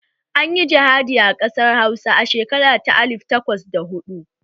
An yi jihadi a ƙasar hausa a shekara ta alif takwas da hudu